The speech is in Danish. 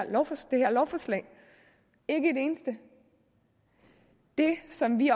lovforslag ikke et eneste det som vi